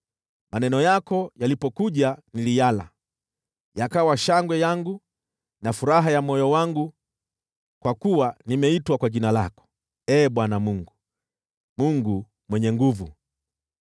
Maneno yako yalipokuja, niliyala; yakawa shangwe yangu na furaha ya moyo wangu, kwa kuwa nimeitwa kwa jina lako, Ee Bwana Mungu Mwenye Nguvu Zote.